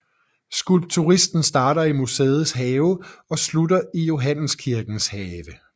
Skulpturstien starter i museets have og slutter i Johanneskirkens have